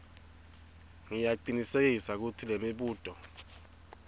ngiyacinisekisa kutsi lemibuto